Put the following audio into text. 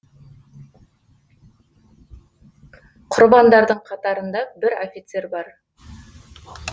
құрбандардың қатарында бір офицер бар